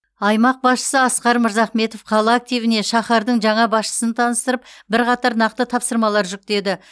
аймақ басшысы асқар мырзахметов қала активіне шаһардың жаңа басшысын таныстырып бірқатар нақты тапсырмалар жүктеді